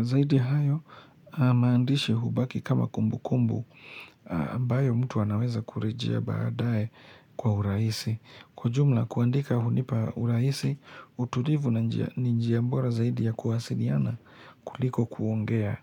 Zaidi ya hayo maandishi hubaki kama kumbu kumbu ambayo mtu anaweza kurejea baadaye kwa urahisi. Kwa jumla kuandika hunipa urahisi utulivu na njia bora zaidi ya kuwasiliana kuliko kuongea.